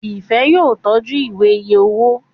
Ifẹ yóò tọjú Ìwé iye owó.